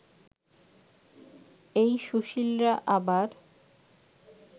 এই সুশীলরা আবার